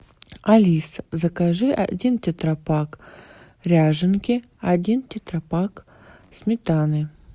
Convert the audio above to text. алиса закажи один тетрапак ряженки один тетрапак сметаны